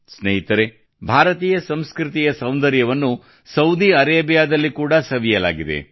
ಸ್ನೇಹಿತರೇ ಭಾರತೀಯ ಸಂಸ್ಕೃತಿಯ ಸೌಂದರ್ಯವನ್ನು ಸೌದಿ ಅರೇಬಿಯಾದಲ್ಲಿ ಕೂಡಾ ಸವಿಯಲಾಗಿದೆ